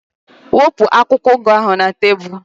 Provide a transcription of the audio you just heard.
Wepụ akwụkwọ ugu ahu na tebụlu